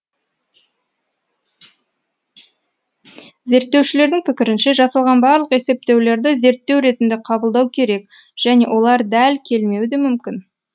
зерттеушілердің пікірінше жасалған барлық есептеулерді зерттеу ретінде қабылдау керек және олар дәл келмеуі де мүмкін